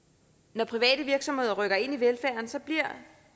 når private virksomheder rykker ind